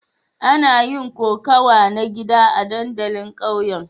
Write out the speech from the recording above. Ana yin kokawa na gida a dandalin ƙauyen.